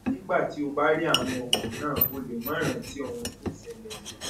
nígbà tí o bá rí àwọn oògùn náà o lè má rántí ohun tó ṣẹlẹ mọ